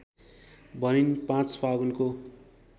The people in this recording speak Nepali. भनिन् ५ फागुनको